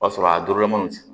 O b'a sɔrɔ a dolomini f